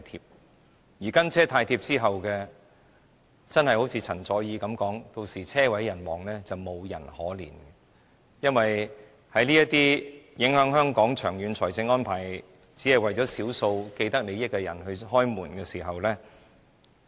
正如陳佐洱所說的，"跟車"太貼之後車毀人亡，沒有人會可憐，因為這些長遠影響香港財政的安排只是為了少數既得利益者開門。